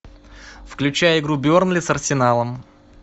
включай игру бернли с арсеналом